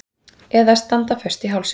Eða standa föst í hálsinum.